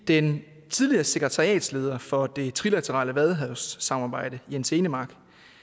den tidligere sekretariatsleder for det trilaterale vadehavssamarbejde jens enemark